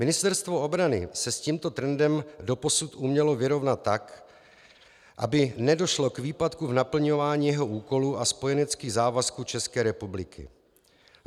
Ministerstvo obrany se s tímto trendem doposud umělo vyrovnat tak, aby nedošlo k výpadku v naplňování jeho úkolů a spojeneckých závazků České republiky.